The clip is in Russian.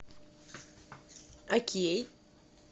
окей